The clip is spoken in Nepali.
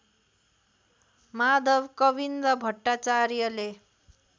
माधव कवीन्द्र भट्टाचार्यले